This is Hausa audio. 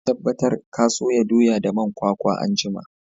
Ka tabbatar ka soya doya da man kwakwa anjima!